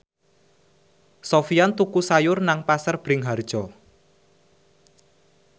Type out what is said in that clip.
Sofyan tuku sayur nang Pasar Bringharjo